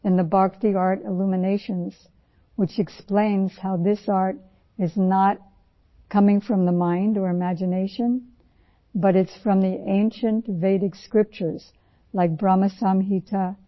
تو ، بھکتی آرٹ میں ہمارا ایک مضمون ہے ، جس میں بھکتی آرٹ پر مثالیں دی گئی ہیں کہ کس طرح یہ آرٹ ذہن یا تصور سے ابھرتا ہے لیکن قدیم ویدک صحیفوں میں ، جیسے بھرم سنہیتا